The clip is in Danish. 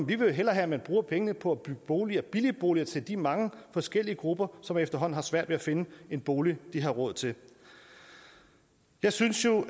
vi jo hellere have at man bruger pengene på at bygge boliger billige boliger til de mange forskellige grupper som efterhånden har svært ved at finde en bolig de har råd til jeg synes jo